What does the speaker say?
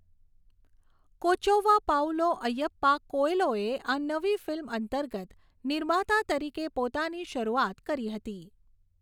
કોચૌવા પાઉલો અય્યપ્પા કોએલોએ આ નવી ફિલ્મ અંતર્ગત નિર્માતા તરીકે પોતાની શરૂઆત કરી હતી.